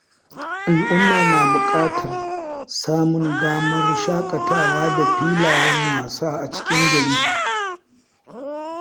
Al’umma na bukatar samun damar shakatawa da filayen wasa a cikin gari.